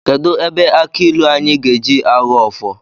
Kedụ ebe aki ịlụ anyị ga-eji Aghọ ọfọ?